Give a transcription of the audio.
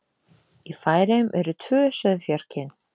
Í Færeyjum eru tvö sauðfjárkyn.